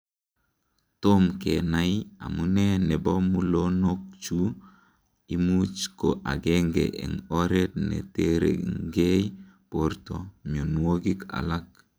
Tom kenai amune nebo mulonokchu, imuch ko agenge en oret neterengei borto mionwokik alak.